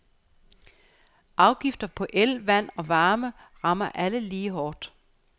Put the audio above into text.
Afgifter på el, vand og varme ramme alle lige hårdt.